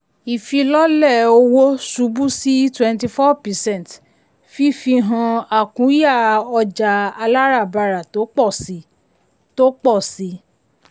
ìfilọ́lẹ̀ owó ṣubú sí twenty four percent fifi hàn àkúnya ọjà aláràbarà tó pọ̀ síi. tó pọ̀ síi.